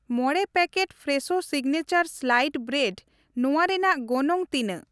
ᱢᱚᱬᱮ packet Fresho signature sliced bread ᱱᱚᱣᱟ ᱨᱮᱱᱟᱜ ᱜᱚᱱᱚᱝ ᱛᱤᱱᱟᱹᱜ ?